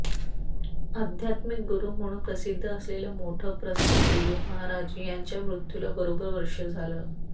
आध्यात्मिक गुरू म्हणून प्रसिद्ध असलेलं मोठं प्रस्थ भय्यू महाराज यांच्या मृत्यूला बरोबर वर्ष झालं